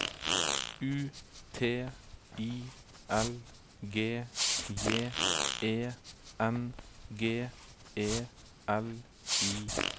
U T I L G J E N G E L I G